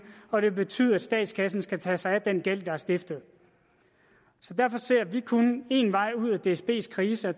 og det vil betyde at statskassen skal tage sig af den gæld der er stiftet så derfor ser vi kun én vej ud af dsbs krise og